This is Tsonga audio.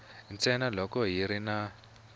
ntsena loko ku ri na